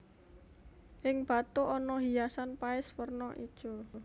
Ing bathuk ana hiasan paes werna ijo